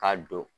K'a don